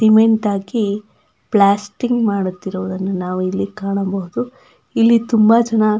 cement ಹಾಕಿ plastering ಮಾಡುತಿರುವುದ್ದನ್ನು ನಾವು ಇಲ್ಲಿ ಕಾಣಬಹುದು ಇಲ್ಲಿ ತುಂಬ ಜನ --